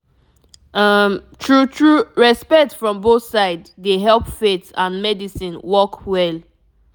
um true true respect from both side dey help faith and medicine work well